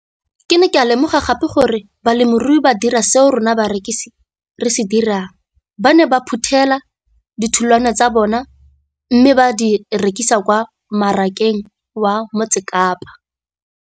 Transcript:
Ke ne ka lemoga gape gore balemirui ba dira seo rona barekisi re se dirang - ba ne ba phuthela ditholwana tsa bona mme ba di rekisa kwa marakeng wa Motsekapa.